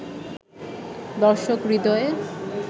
দর্শক হৃদয়ে